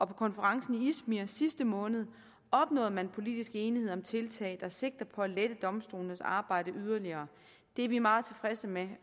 på konferencen i izmir sidste måned opnåede man politisk enighed om tiltag der sigter på at lette domstolenes arbejde yderligere det er vi meget tilfredse med